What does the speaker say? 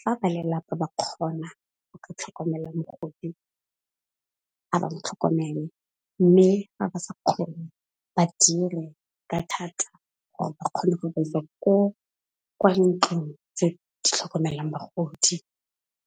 fa ba lelapa ba kgona ho ka tlhokomela mogodi ha ba mo tlhokomele, mme ha ba sa kgone ba dire ka thata gore ba kgone go ba isa ko kwa ntlong tse di tlhokomelang bagodi.